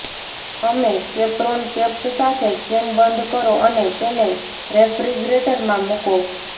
અમે કેપરોન કેપ્સ સાથે કેન બંધ કરો અને તેને રેફ્રિજરેટરમાં મુકો